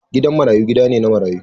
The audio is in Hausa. Gidan marayu gida ne na marayu.